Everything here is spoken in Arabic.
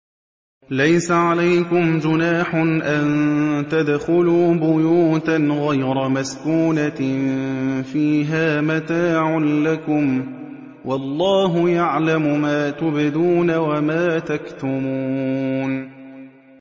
لَّيْسَ عَلَيْكُمْ جُنَاحٌ أَن تَدْخُلُوا بُيُوتًا غَيْرَ مَسْكُونَةٍ فِيهَا مَتَاعٌ لَّكُمْ ۚ وَاللَّهُ يَعْلَمُ مَا تُبْدُونَ وَمَا تَكْتُمُونَ